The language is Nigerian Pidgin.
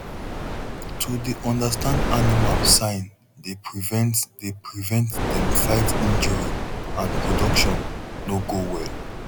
to dey understand animal sign dey prevent dey prevent dem fight injury and production no go well